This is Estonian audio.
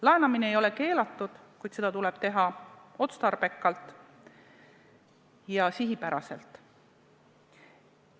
Laenamine ei ole keelatud, kuid seda tuleb teha otstarbekalt ja sihipäraselt.